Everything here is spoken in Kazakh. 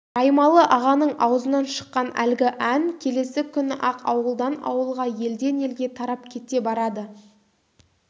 раймалы-ағаның аузынан шыққан әлгі ән келесі күні-ақ ауылдан-ауылға елден-елге тарап кете барады